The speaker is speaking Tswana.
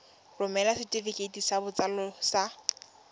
romela setefikeiti sa botsalo sa